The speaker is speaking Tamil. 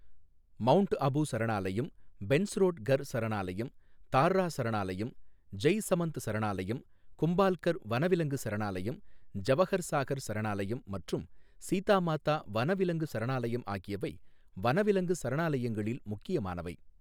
மவுண்ட் அபு சரணாலயம், பென்ஸ்ரோட் கர் சரணாலயம், தார்ரா சரணாலயம், ஜெய்சமந்த் சரணாலயம், கும்பால்கர் வனவிலங்கு சரணாலயம், ஜவஹர் சாகர் சரணாலயம் மற்றும் சீதா மாதா வனவிலங்கு சரணாலயம் ஆகியவை வனவிலங்கு சரணாலயங்களில் முக்கியமானவை.